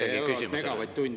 Palun ikkagi keskenduda küsimusele.